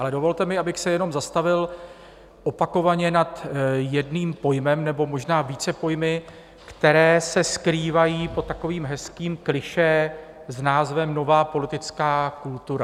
Ale dovolte mi, abych se jenom zastavil opakovaně nad jedním pojmem, nebo možná více pojmy, které se skrývají pod takovým hezkým klišé s názvem nová politická kultura.